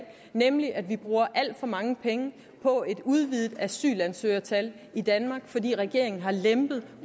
nemlig at vi bruger alt for mange penge på et udvidet asylansøgertal i danmark fordi regeringen har lempet